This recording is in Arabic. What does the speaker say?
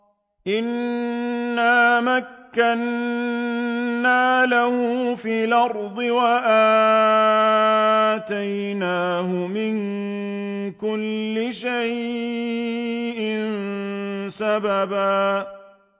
إِنَّا مَكَّنَّا لَهُ فِي الْأَرْضِ وَآتَيْنَاهُ مِن كُلِّ شَيْءٍ سَبَبًا